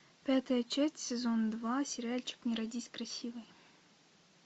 пятая часть сезон два сериальчик не родись красивой